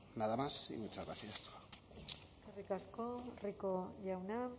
nada más y muchas gracias eskerrik asko rico jauna